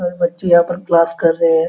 और बच्चे यहाँ पर क्लास कर रहे हैं ।